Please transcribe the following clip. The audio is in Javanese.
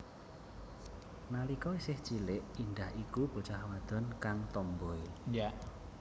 Nalika isih cilik Indah iku bocah wadon kang tomboi